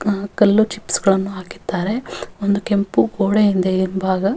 ಆಹ್ಹ್ ಕಲ್ಲು ಚಿಪ್ಸ್ಗ ಳನ್ನು ಹಾಕಿದ್ದಾರೆ ಒಂದು ಕೆಂಪು ಗೋಡೆಯಿಂದ ಹಿಂಭಾಗ --